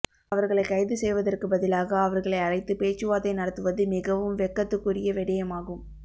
அவர்களை கைது செய்வதற்கு பதிலாக அவர்களை அழைத்து பேச்சுவார்த்தை நடத்துவது மிகவும் வெட்கத்துக்குரிய விடயமாகும்